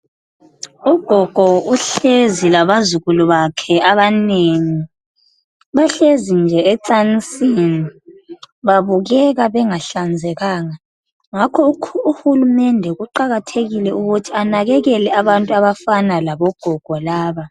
Ugogo uhlezi labazukulu bakhe abanengi bahlezi nje ecansini, babukeka bengahlanzekanga ngakho uhulumende kuqakathekile ukuthi anakekele abantu abafana labogogo laba.